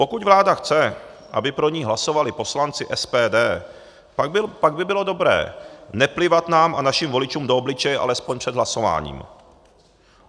Pokud vláda chce, aby pro ni hlasovali poslanci SPD, pak by bylo dobré neplivat nám a našim voličům do obličeje alespoň před hlasováním.